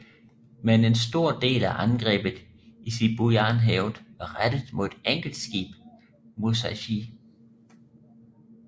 Men en stor del af angrebet i Sibuyanhavet var rettet mod et enkelt skib Musashi